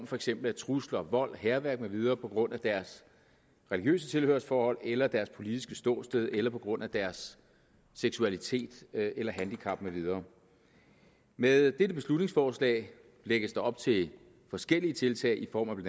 for eksempel trusler vold hærværk med videre på grund af deres religiøse tilhørsforhold eller deres politiske ståsted eller på grund af deres seksualitet eller handicap med videre med dette beslutningsforslag lægges op til forskellige tiltag i form af